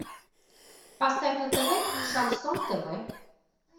поставь на тв шансон тв